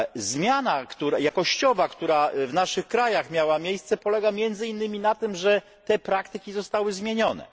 Zmiana jakościowa, która w naszych krajach miała miejsce, polega między innymi na tym, że te praktyki zostały zmienione.